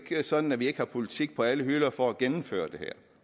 sådan at vi ikke har politik på alle hylder for at gennemføre det her